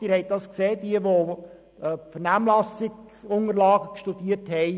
Wer die Vernehmlassungsunterlagen studiert hat, hat dies erkannt.